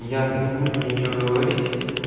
и я не буду ничего говорить